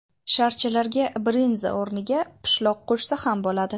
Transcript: Sharchalarga brinza o‘rniga pishloq qo‘shsa ham bo‘ladi.